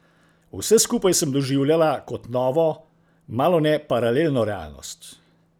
Vse skupaj sem doživljala kot novo, malone paralelno realnost.